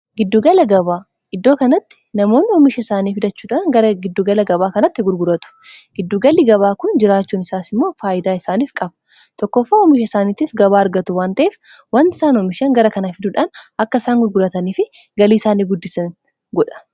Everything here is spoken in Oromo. giddugala gabaa iddoo kanatti namoonni oomisha isaaniif idachuudaan gara giddugala gabaa kanatti gurguratu giddugalli gabaa kun jiraachuun isaas immoo faayyidaa isaaniif qaba tokkooffaa oomisha isaaniitiif gabaa argatu wanta'ef wanti isaan oomishan gara kanaa fidduudhaan akka isaan gurgurataniifi galii isaanii guddisan godha